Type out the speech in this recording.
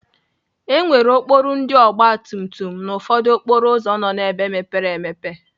E nwere okporo ndị ọgbatumtum na ụfọdụ okporo ụzọ nọ n'ebe mepere emepe.